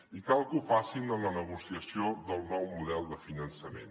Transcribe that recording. i cal que ho facin en la negociació del nou model de finançament